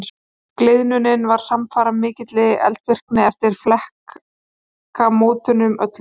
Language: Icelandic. Gliðnunin var samfara mikilli eldvirkni eftir flekamótunum öllum.